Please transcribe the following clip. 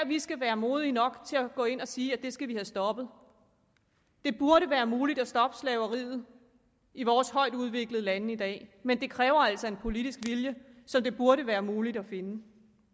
vi skal være modige nok til at gå ind og sige at det skal vi have stoppet det burde være muligt at stoppe slaveriet i vores højtudviklede lande i dag men det kræver altså en politisk vilje som det burde være muligt at finde